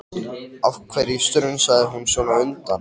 Ég merkti klökkva í röddinni þegar hann sagði frá þessu.